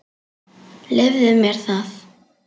Leyfðu mér það,